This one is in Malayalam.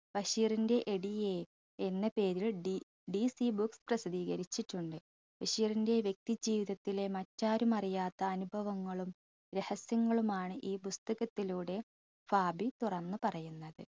ബഷീറിന്റെ എഡീയെ എന്ന പേരിൽ ടി DC books പ്രസിദ്ധീകരിച്ചിട്ടുണ്ട് ബഷീറിന്റെ വ്യക്തി ജീവിതത്തിലെ മറ്റാരുമറിയാത്ത അനുഭവങ്ങളും രഹസ്യങ്ങളുമാണ് ഈ പുസ്തകത്തിലൂടെ ഫാബി തുറന്നു പറയുന്നത്.